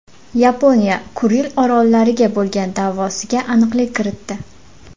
Yaponiya Kuril orollariga bo‘lgan da’vosiga aniqlik kiritdi.